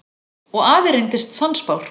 Og afi reyndist sannspár.